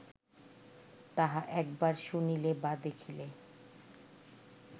তাহা একবার শুনিলে বা দেখিলে